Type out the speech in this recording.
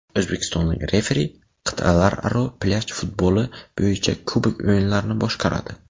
O‘zbekistonlik referi Qit’alararo plyaj futboli bo‘yicha Kubok o‘yinlarini boshqaradi.